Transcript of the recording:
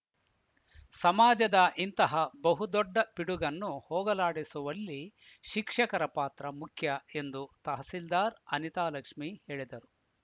ಸಮಾಜದ ಇಂತಹ ಬಹುದೊಡ್ಡ ಪಿಡುಗನ್ನು ಹೋಗಲಾಡಿಸುವಲ್ಲಿ ಶಿಕ್ಷಕರ ಪಾತ್ರ ಮುಖ್ಯ ಎಂದು ತಹಸೀಲ್ದಾರ್‌ ಅನಿತಾಲಕ್ಷ್ಮಿ ಹೇಳಿದರು